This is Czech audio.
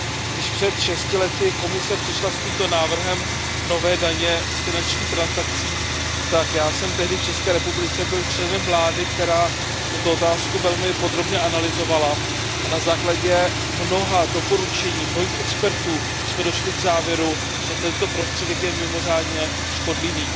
Když před 6 lety Komise přišla s tímto návrhem nové daně z finančních transakcí, tak já jsem tehdy v České republice byl členem vlády, která tuto otázku velmi podrobně analyzovala, a na základě mnoha doporučení mnohých expertů jsme došli k závěru, že tento prostředek je mimořádně škodlivý.